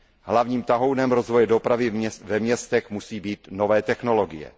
Hlavním tahounem rozvoje dopravy ve městech musí být nové technologie.